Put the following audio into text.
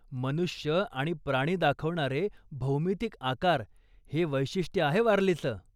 मनुष्य आणि प्राणी दाखवणारे भौमितिक आकार हे वैशिष्ट्य आहे वारलीचं.